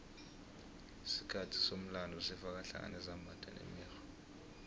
isikhathi somlando sifaka hlangana izimbatho nemikghwa